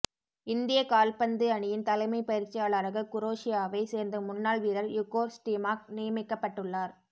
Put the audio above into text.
இந்திய கால்பந்து அணியின் தலைமை பயிற்சியாளராக குரோஷியாவை சேர்ந்த முன்னாள் வீரர் இகோர் ஸ்டிமாக் நியமிக்கப்பட்டுள்ளார்